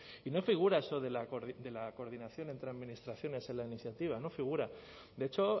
y no figura eso de la coordinación entre administraciones en la iniciativa no figura de hecho